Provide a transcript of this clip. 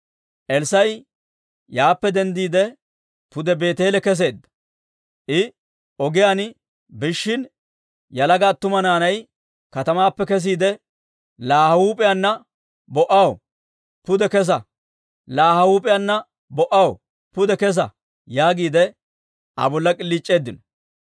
Elssaa'i yaappe denddiide, pude Beeteele kesseedda. I ogiyaan biishshin, yalaga attuma naanay katamaappe kesiide, «Laa ha huup'iyaana bo"aw, pude kesa! Laa ha huup'iyaana bo"aw, pude kesa!» yaagiide Aa bolla k'iliic'eeddino.